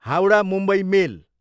Howrah, Mumbai मेल